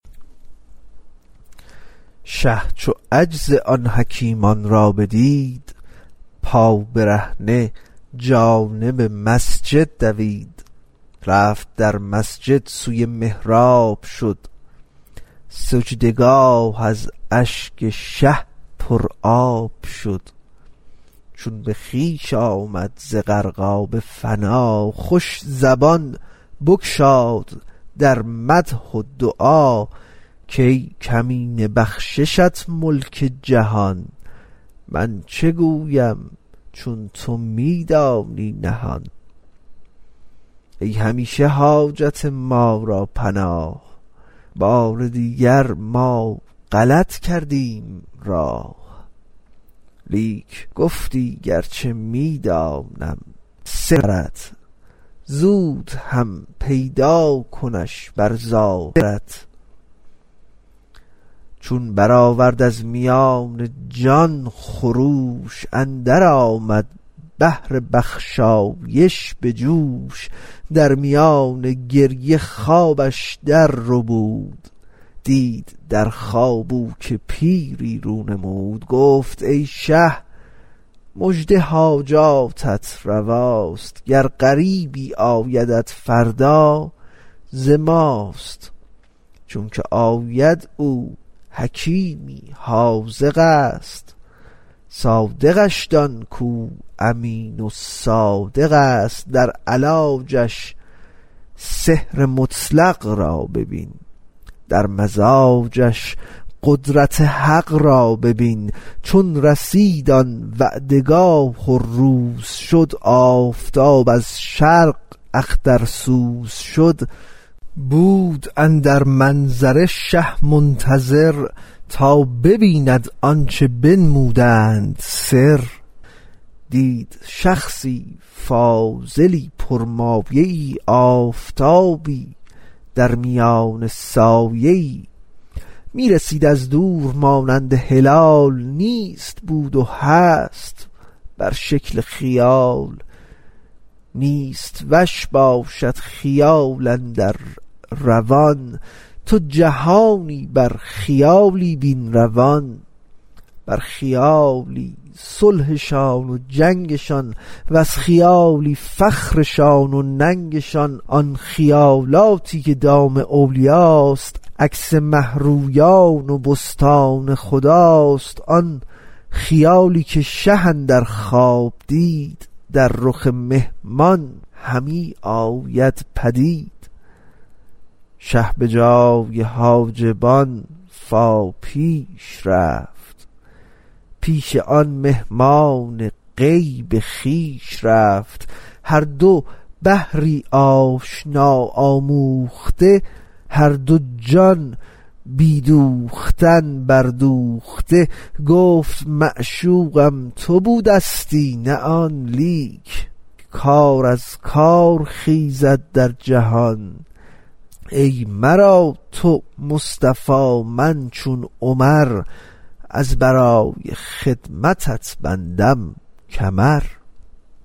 شه چو عجز آن حکیمان را بدید پابرهنه جانب مسجد دوید رفت در مسجد سوی محراب شد سجده گاه از اشک شه پر آب شد چون به خویش آمد ز غرقاب فنا خوش زبان بگشاد در مدح و دعا کای کمینه بخششت ملک جهان من چه گویم چون تو می دانی نهان ای همیشه حاجت ما را پناه بار دیگر ما غلط کردیم راه لیک گفتی گرچه می دانم سرت زود هم پیدا کنش بر ظاهرت چون برآورد از میان جان خروش اندر آمد بحر بخشایش به جوش در میان گریه خوابش در ربود دید در خواب او که پیری رو نمود گفت ای شه مژده حاجاتت رواست گر غریبی آیدت فردا ز ماست چونکه آید او حکیمی حاذقست صادقش دان کو امین و صادقست در علاجش سحر مطلق را ببین در مزاجش قدرت حق را ببین چون رسید آن وعده گاه و روز شد آفتاب از شرق اخترسوز شد بود اندر منظره شه منتظر تا ببیند آنچه بنمودند سر دید شخصی کاملی پر مایه ای آفتابی درمیان سایه ای می رسید از دور مانند هلال نیست بود و هست بر شکل خیال نیست وش باشد خیال اندر روان تو جهانی بر خیالی بین روان بر خیالی صلحشان و جنگشان وز خیالی فخرشان و ننگشان آن خیالاتی که دام اولیاست عکس مه رویان بستان خداست آن خیالی که شه اندر خواب دید در رخ مهمان همی آمد پدید شه به جای حاجبان فا پیش رفت پیش آن مهمان غیب خویش رفت هر دو بحری آشنا آموخته هر دو جان بی دوختن بر دوخته گفت معشوقم تو بودستی نه آن لیک کار از کار خیزد در جهان ای مرا تو مصطفی من چو عمر از برای خدمتت بندم کمر